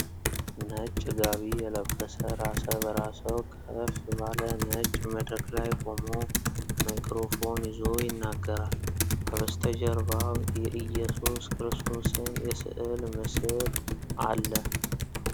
ነጭ ጋቢ የለበሰ ራሰ በራ ሰው ከፍ ባለ ነጭ መድረክ ላይ ቆሞ ማይክሮፎን ይዞ ይናገራል። ከበስተጀርባው የኢየሱስ ክርስቶስን የስዕል ምስል አለ።